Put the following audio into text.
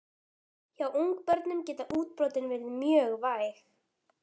Hjá ungbörnum geta útbrotin verið mjög væg.